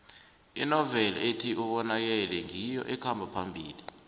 inoveli ethi ubonakele ngiyo ekhamba phambili